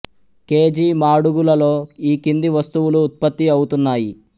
K G మాడుగులలో ఈ కింది వస్తువులు ఉత్పత్తి అవుతున్నాయి